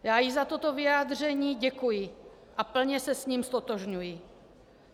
Já jí za toto vyjádření děkuji a plně se s ním ztotožňuji.